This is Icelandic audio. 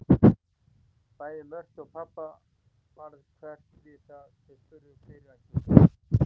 Bæði Mörtu og pabba varð hverft við þegar þau spurðu fyrirætlun mína.